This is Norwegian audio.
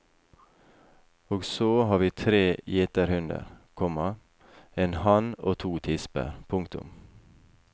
Og så har vi tre gjeterhunder, komma en hann og to tisper. punktum